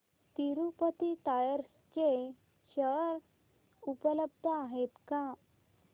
Tirupati tyres चे share उपलब्ध आहेत का